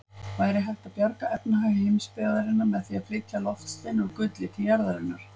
Væri hægt að bjarga efnahag heimsbyggðarinnar með því að flytja loftstein úr gulli til jarðarinnar?